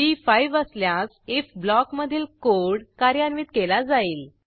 ती 5 असल्यास ifब्लॉकमधील कोड कार्यान्वित केला जाईल